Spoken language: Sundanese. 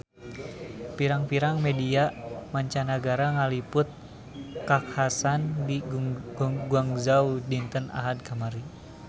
Pirang-pirang media mancanagara ngaliput kakhasan di Guangzhou dinten Ahad kamari